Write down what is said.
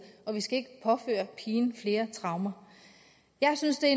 og vi skal ikke påføre pigen flere traumer jeg synes det er